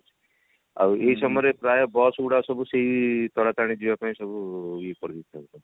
ଆଉ ଏଇ ସମୟରେ ପ୍ରାୟ bus ଗୁଡା ସବୁ ସେଇ ତାରାତାରିଣୀ ଯିବାପାଇଁ ସବୁ ଇଏ କରିଦେଇ ଥାନ୍ତି